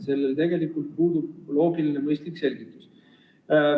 Sellel tegelikult puudub loogiline ja mõistlik selgitus.